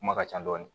Kuma ka ca dɔɔni